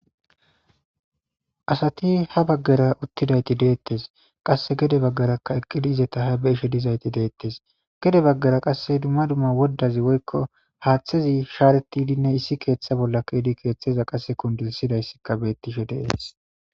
Asati ha baggara uttidayssi beettees.qassi gede baggarakka eqqi dize ha be7ishe dizayssi beettees. Gede baggara qassi dumma dumma woddazi woykko haathezi shaarettidinne issi keetha bolla keyidi keetheza qasse kundisizayssikka beettishe de7ees.